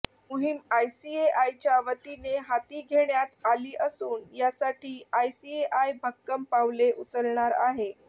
मोहिम आयसीएआयच्या वतीने हाती घेण्यात आली असून यासाठी आयसीएआय भक्कम पावले उचलणार आहे